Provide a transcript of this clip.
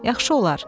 Yaxşı olar.